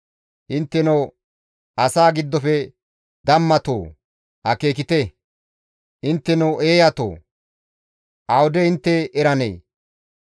Intteno asaa giddofe dammatoo! Akeekite! Intteno eeyatoo! Awude intte eranee?